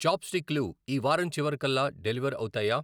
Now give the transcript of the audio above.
Chop స్టిక్లు ఈ వారం చివరికల్లా డెలివర్ అవుతాయా?